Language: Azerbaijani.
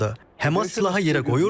Həmas silaha yerə qoyur,